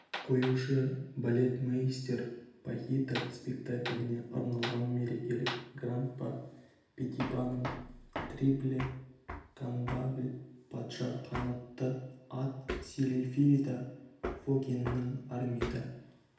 қоюшы балетмейстер пахита спектакліне арналған мерекелік гран-па петипаның трильби кандавл патша қанатты ат сильфида фокиннің армида